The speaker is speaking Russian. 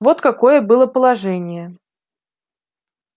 вот какое было положение